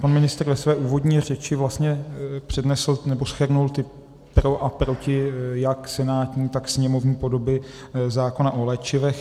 Pan ministr ve své úvodní řeči vlastně přednesl nebo shrnul ta pro a proti jak senátní, tak sněmovní podoby zákona o léčivech.